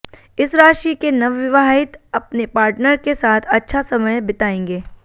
इस राशि के नवविवाहित अपने पार्टनर के साथ अच्छा समय बिताएंगे